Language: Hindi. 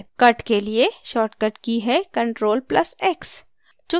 cut के लिए shortcut की हैctrl + x